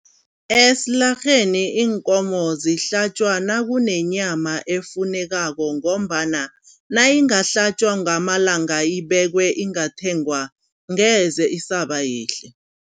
Esilarheni iinkomo zihlatjwa nakunenyama efunekako ngombana nayingahlatjwa ngamalanga ibekwe ingathengwa ngeze isaba yihle.